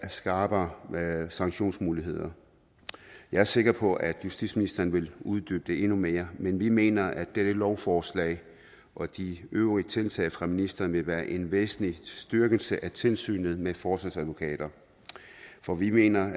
skrappere sanktionsmuligheder jeg er sikker på at justitsministeren vil uddybe det endnu mere men vi mener at dette lovforslag og de øvrige tiltag fra ministeren vil være en væsentlig styrkelse af tilsynet med forsvarsadvokater for vi mener